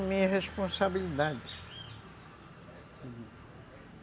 Assumir a responsabilidade.